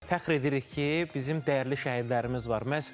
Fəxr edirik ki, bizim dəyərli şəhidlərimiz var.